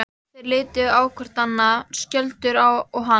Þeir litu hvor á annan, Skjöldur og hann.